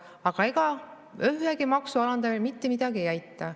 Aga ega ühegi maksu alandamine mitte midagi ei aita.